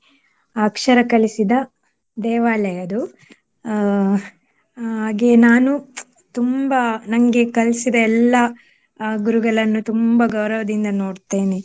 ಅಕ್ಷರ ಕಲಿಸಿದ ದೇವಾಲಯ ಅದು. ಅಹ್ ಹಾಗೆ ನಾನು ತುಂಬಾ ನಂಗೆ ಕಲ್ಸಿದ ಎಲ್ಲಾ ಅಹ್ ಗುರುಗಳನ್ನು ತುಂಬಾ ಗೌರವದಿಂದ ನೋಡ್ತೇನೆ.